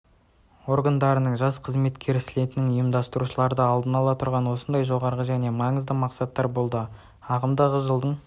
органдарының жас қызметкерлер слетінің ұйымдастырушылары алдында тұрған осындай жоғары және маңызды мақсаттар болды ағымдағы жылдың